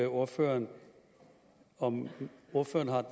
ordføreren om ordføreren